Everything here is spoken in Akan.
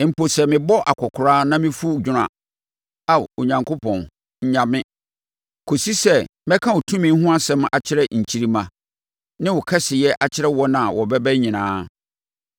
Mpo sɛ mebɔ akɔkoraa na mefu dwono a, Ao Onyankopɔn, nnya me, kɔsi sɛ mɛka wo tumi ho asɛm akyerɛ nkyirimma, ne wo kɛseyɛ akyerɛ wɔn a wɔbɛba nyinaa.